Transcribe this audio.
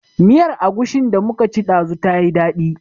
Miyar Agushin da muka ci ɗazu ta yi daɗi